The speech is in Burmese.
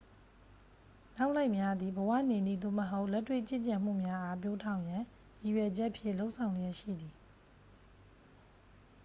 နောက်လိုက်များသည် ဘဝနေနည်း သို့မဟုတ် လက်တွေ့ကျင့်ကြံမှုများအား ပျိုးထောင်ရန်ရည်ရွယ်ချက်ဖြင့် လုပ်ဆောင်လျက်ရှိသည်